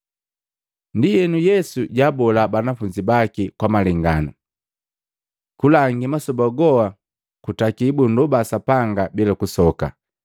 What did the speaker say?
Ndienu, Yesu jaabola banafunzi baki kwa malenganu, kulangi masoba goa kutaki bunndoba Sapanga bila kusoka.